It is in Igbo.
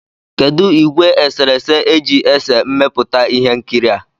Kedụ ìgwè eserese e ji ese mmepụta ihe nkiri a?